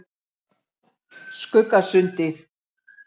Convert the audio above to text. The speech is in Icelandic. Skuggasundi